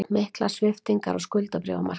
Miklar sviptingar á skuldabréfamarkaði